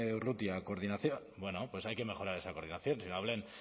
urrutia coordinación bueno pues hay que mejorar esa coordinación sino